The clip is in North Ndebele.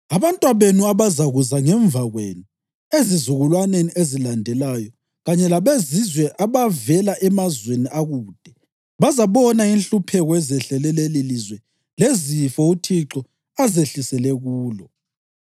Abantwabenu abazakuza ngemva kwenu ezizukulwaneni ezilandelayo kanye labezizwe abavela emazweni akude bazabona inhlupheko ezehlele lelilizwe lezifo uThixo azehlisele kulo.